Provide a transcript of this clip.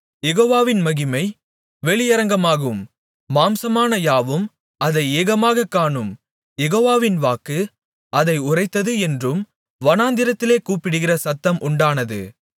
யெகோவாவின் மகிமை வெளியரங்கமாகும் மாம்சமான யாவும் அதை ஏகமாகக் காணும் யெகோவாவின் வாக்கு அதை உரைத்தது என்றும் வனாந்திரத்திலே கூப்பிடுகிற சத்தம் உண்டானது